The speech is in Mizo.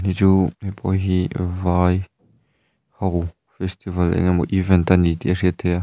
heichu heipawh hi vai ho festival eng emaw event ani tih a hriat theih a.